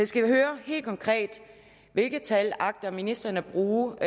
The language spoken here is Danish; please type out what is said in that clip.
skal høre helt konkret hvilke tal agter ministeren at bruge